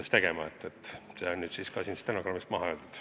See on nüüd siis ka stenogrammi huvides maha öeldud.